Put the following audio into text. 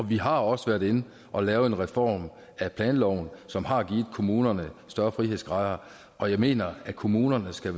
vi har også været inde og lave en reform af planloven som har givet kommunerne større frihedsgrader og jeg mener at kommunerne skal